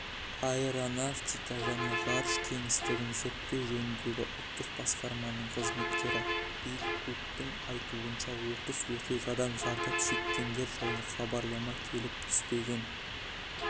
аэронавтика және ғарыш кеңістігін зерттеу жөніндегі ұлттық басқарманың қызметкері билл куктің айтуынша оқыс оқиғадан зардап шеккендер жайлы хабарлама келіп түспеген